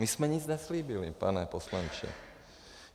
My jsme nic neslíbili, pane poslanče.